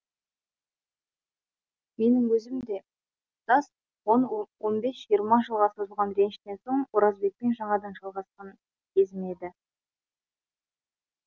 менің өзім де тұтас он бес жиырма жылға созылған реніштен соң оразбекпен жаңадан жалғасқан кезім еді